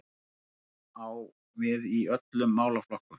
Reglan á við í öllum málaflokkum